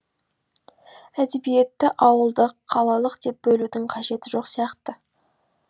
әдебиетті ауылдық қалалық деп бөлудің қажеті жоқ сияқты